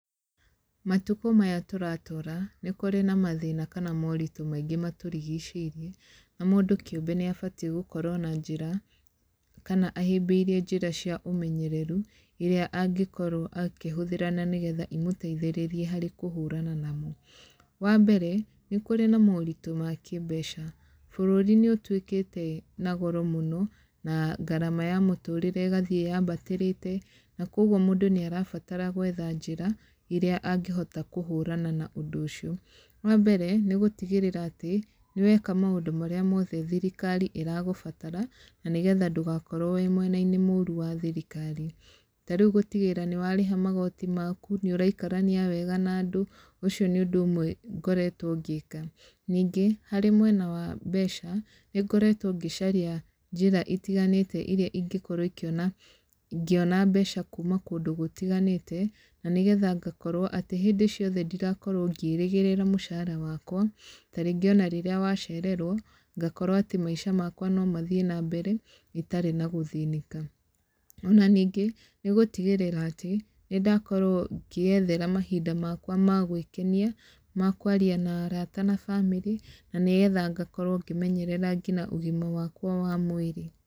Matukũ maya tũratũũra, nĩ kũrĩ na mathĩna kana moritũ maingĩ matũrigicĩirie. Na mũndũ kĩũmbe nĩ abatiĩ gũkorwo na njĩra, kana ahĩmbĩirie njĩra cia ũmenyereru, irĩa angĩkorwo akĩhũthĩra na nĩgetha imũteithĩrĩrie harĩ kũhũrana namo. Wa mbere, nĩ kũrĩ na moritũ ma kĩmbeca. Bũrũri nĩ ũtuĩkĩte na goro mũno, na ngarama ya mũtũrĩre ĩgathiĩ yambatĩrĩte, na kũguo mũndũ nĩ arabatara gwetha njĩra, irĩa angĩhota kũhũrana na ũndũ ũcio. Wa mbere, nĩ gũtigĩrĩra atĩ, nĩ weka maũndũ marĩa mothe thirikari ĩragũbatara, na nĩgetha ndũgakorwo wĩ mwena-inĩ mũũru wa thirikari. Ta rĩu gũtigĩrĩra nĩ warĩha magoti maku, nĩ ũraikarania wega na andũ. Ũcio nĩ ũndũ ũmwe ngoretwo ngĩka. Ningĩ, harĩ mwena wa mbeca, nĩ ngoretwo ngĩcaria njĩra itiganĩte irĩa ingĩkorwo ikiona ngĩona mbeca kuuma kũndũ gũtiganĩte, na nĩgetha ngakorwo atĩ hĩndĩ ciothe ndirakorwo ngĩĩrĩgĩrĩra mũcara wakwa. Ta rĩngĩ ona rĩrĩa wacererwo, ngakorwo atĩ maica makwa no mathiĩ na mbere, itarĩ na gũthĩnĩka. Ona ningĩ, nĩ gũtigĩrĩra atĩ, nĩ ndakorwo ngĩĩethera mahinda makwa ma gwĩkenia, ma kwaria na araata na bamĩrĩ, na nĩgetha ngakorwo ngĩmenyerera nginya ũgima wakwa wa mwĩrĩ.